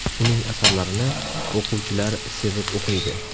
Uning asarlarini o‘quvchilar sevib o‘qiydi.